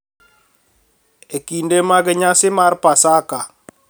E kinde mag nyasi mar Pasaka,